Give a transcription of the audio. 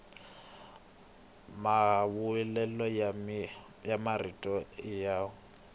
mahlawulelo ya marito i yo